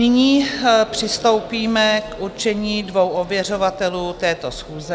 Nyní přistoupíme k určení dvou ověřovatelů této schůze.